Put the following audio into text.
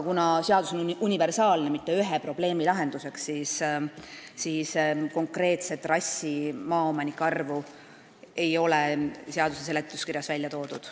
Kuna seadus on universaalne, see ei ole mõeldud mitte ühe probleemi lahendamiseks, siis konkreetse trassi maaomanike arvu ei ole seaduseelnõu seletuskirjas välja toodud.